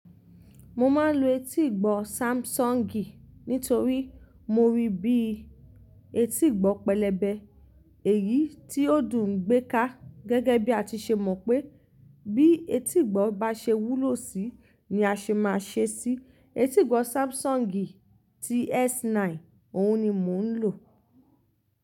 Mo máa ń lo etígbọ́ Samsung nítorí mo rí bí etígbọ́ pẹlẹbẹ, èyí tí ó dùn gbé ká gẹ́gẹ́ bí a ti ṣe mọ̀ pé bí etígbọ́ bá ṣe wúlò síi ni a ṣe máa ṣe ṣí. Etígbọ́ Samsung ti S9 òun ni mò ń lò.